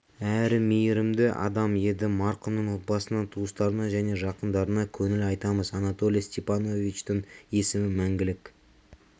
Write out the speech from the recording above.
әрі мейірімді адам еді марқұмның отбасына туыстарына және жақындарына көңіл айтамыз анатолий степановичтің есімі мәңгілік